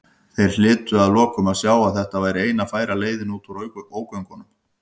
Þeir hlytu að lokum að sjá að þetta væri eina færa leiðin út úr ógöngunum.